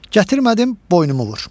Gətirmədim, boynumu vur.